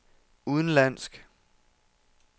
udenlandsk